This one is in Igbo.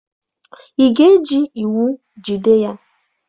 Ị ga-eji iwu jide ya?